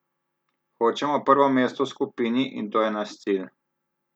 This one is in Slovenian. Hočemo prvo mesto v skupini in to je naš cilj!